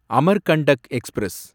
Amarkantak express